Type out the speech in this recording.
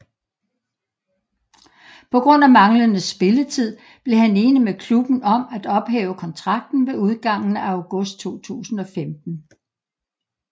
På grund af manglende spilletid blev han enig med klubben om at ophæve kontrakten ved udgangen af august 2015